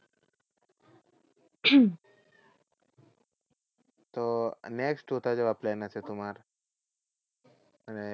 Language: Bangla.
তো next কোথায় যাওয়ার plan আছে তোমার? মানে